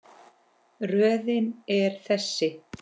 Röðin er þessi